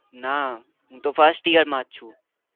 ના હું તો first year માં જ છુ